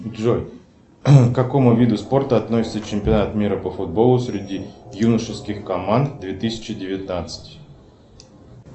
джой к какому виду спорта относится чемпионат мира по футболу среди юношеских команд две тысячи девятнадцать